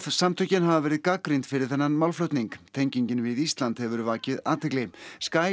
samtökin hafa verið gagnrýnd fyrir þennan málflutning tengingin við Ísland hefur vakið athygli